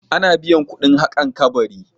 Ana biyan kuɗin haƙan kabari.